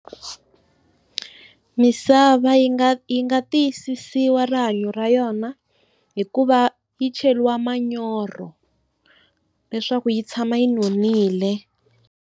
Misava yi nga yi nga tiyisisiwa rihanyo ra yona hikuva yi cheriwa manyoro leswaku yi tshama yi nonile.